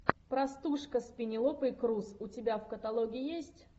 простушка с пенелопой крус у тебя в каталоге есть